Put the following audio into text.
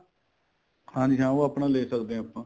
ਹਾਂਜੀ ਹਾਂ ਉਹ ਆਪਣਾ ਲੈ ਸਕਦੇ ਆ ਆਪਾਂ